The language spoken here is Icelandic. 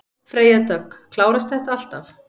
Freyja Dögg: Klárast þetta alltaf?